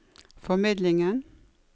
formidlingen